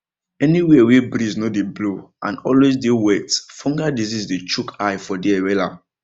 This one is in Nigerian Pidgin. anywhere wey breeze no dey blow and always dey wet fungal disease dey chook eye for there wella